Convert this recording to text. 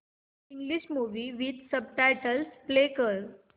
English movie with subtitles play कर